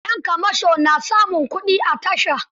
Yan kamasho na samun kuɗi a tasha.